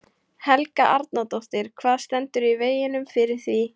Helga Arnardóttir: Hvað stendur í veginum fyrir því?